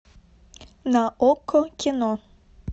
на окко кино